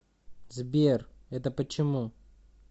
сбер это почему